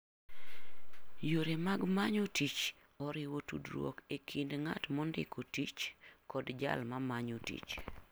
Yore mag manyo tich oriwo tudruok e kind ng'at mondiko tich kod jal ma manyo tich.